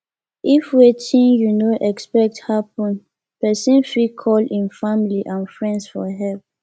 if wetin you no expect happen person fit call im family and friends for help